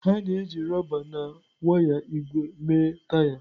A na-eji rọba na waya ígwè mee taya.